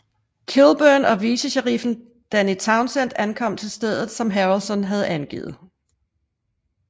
Kilburn og vicesheriffen Danny Towsend ankom til stedet som Harrelson havde angivet